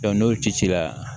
n'o cira